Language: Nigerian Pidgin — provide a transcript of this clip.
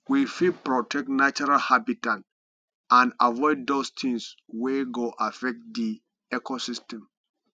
we fit protect natural habitat and avoid those things wey go affect di ecosystem